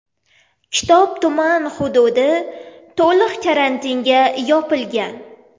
Kitob tuman hududi to‘liq karantinga yopilgan .